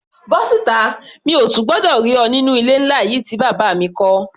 Bọ́ síta! Mi ò tún gbọdọ̀ rí ọ nínú ilé ńlá yìí tí bàbá mi kọ́.